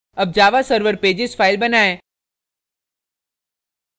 अब javaserver pages file बनाएँ